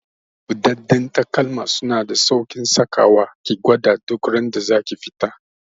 Buɗaɗɗen takalma suna da sauƙin saka wa, ki gwada duk randa zaki fita